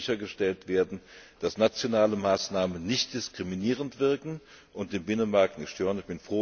Damit soll sichergestellt werden, dass nationale Maßnahmen nicht diskriminierend wirken und den Binnenmarkt nicht stören.